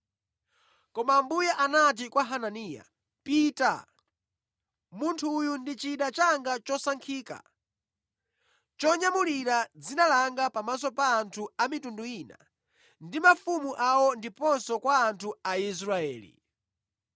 Koma Ambuye anati kwa Hananiya, “Pita! Munthu uyu ndi chida changa chosankhika chonyamulira dzina langa pamaso pa anthu a mitundu ina ndi mafumu awo ndiponso kwa anthu a Israeli.